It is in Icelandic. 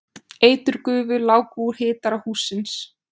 Eiturgufur láku úr hitara hússins